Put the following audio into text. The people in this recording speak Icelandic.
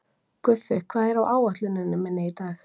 Guffi, hvað er á áætluninni minni í dag?